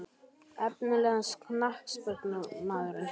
Efnilegasti knattspyrnumaðurinn?